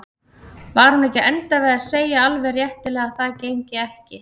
Var hún ekki að enda við að segja alveg réttilega að það gengi ekki?